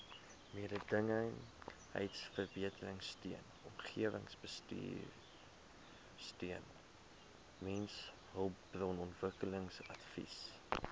mededingendheidsverbeteringsteun omgewingsbestuursteun mensehulpbronontwikkelingsadvies